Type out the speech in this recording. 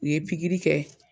U ye pigiri kɛ